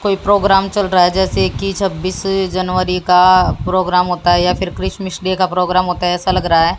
कोई प्रोग्राम चल रहा है जैसे कि छब्बीस जनवरी का प्रोग्राम होता है या फिर क्रिसमस डे का प्रोग्राम होता है ऐसा लग रहा है।